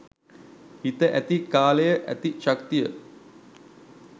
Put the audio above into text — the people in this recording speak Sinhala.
හිත ඇති කාලය ඇති ශක්තිය